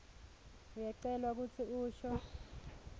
uyacelwa kutsi usho